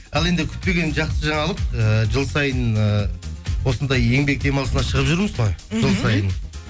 ал енді күтпеген жақсы жаңалық ііі жыл сайын ііі осындай еңбек демалысына шығып жүрміз ғой мхм жыл сайын